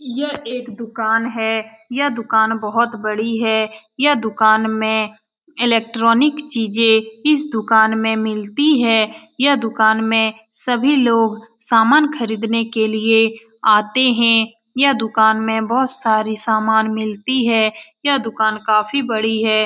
यह एक दुकान है यह दुकान बहुत बड़ी है यह दुकान में इलेक्ट्रॉनिक चीजें इस दुकान में मिलती है यह दुकान में सभी लोग सामान खरीदने के लिए आते है यह दुकान में बहुत सारी सामान मिलती है यह दुकान काफी बड़ी है।